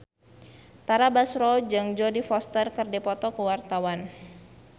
Tara Basro jeung Jodie Foster keur dipoto ku wartawan